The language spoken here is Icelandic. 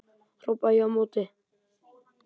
hrópaði ég á móti.